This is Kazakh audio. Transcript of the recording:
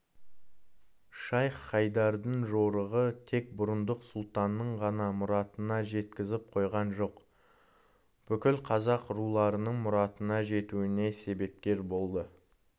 шайх-хайдардың жорығы тек бұрындық сұлтанның ғана мұратына жеткізіп қойған жоқ бүкіл қазақ руларының мұратына жетуіне себепкер болды